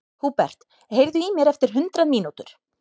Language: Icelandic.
Húbert, heyrðu í mér eftir hundrað mínútur.